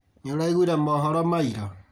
Nĩũraiguire mohoro ma ira?